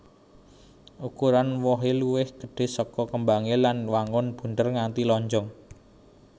Ukuran wohé luwih gedhé saka kembangé lan wanguné bunder nganti lonjong